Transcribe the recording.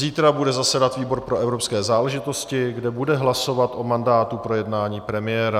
Zítra bude zasedat výbor pro evropské záležitosti, kde bude hlasovat o mandátu pro jednání premiéra.